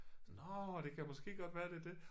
Nåh det kan måske godt være det det